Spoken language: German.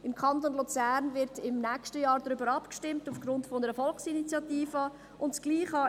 Im Kanton Luzern wird im nächsten Jahr aufgrund einer Volksinitiative darüber abgestimmt.